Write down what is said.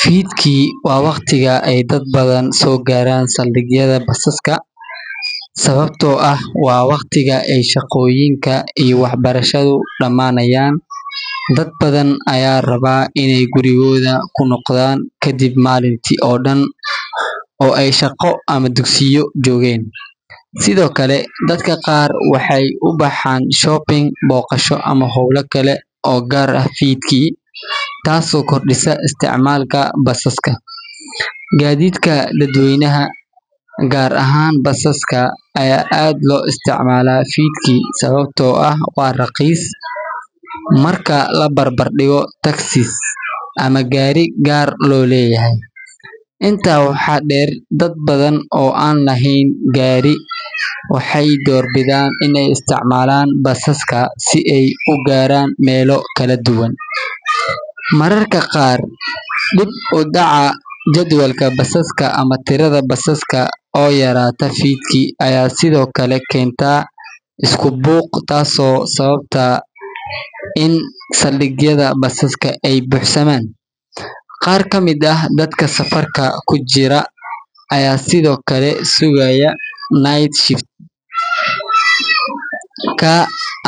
Fiidkii waa waqtiga ay dad badan soo gaaraan saldhigyada basaska, sababtoo ah waa waqtiga ay shaqooyinka iyo waxbarashadu dhammaanayaan. Dad badan ayaa raba inay gurigooda ku noqdaan kadib maalintii oo dhan oo ay shaqo ama dugsiyo joogeen. Sidoo kale, dadka qaar waxay u baxaan shopping, booqasho, ama hawlo kale oo gaar ah fiidkii, taasoo kordhisa isticmaalka basaska. Gaadiidka dadweynaha, gaar ahaan basaska, ayaa aad loo isticmaalaa fiidkii sababtoo ah waa raqiis marka la barbar dhigo taxis ama gaari gaar loo leeyahay. Intaa waxaa dheer, dad badan oo aan lahayn gaari waxay doorbidaan inay isticmaalaan basaska si ay u gaaraan meelo kala duwan. Mararka qaar, dib u dhaca jadwalka basaska ama tirada basaska oo yaraata fiidkii ayaa sidoo kale keenta isku buuq, taasoo sababta in saldhigyada basaska ay buuxsamaan. Qaar ka mid ah dadka safarka ku jira ayaa sidoo kale sugaya night shift ka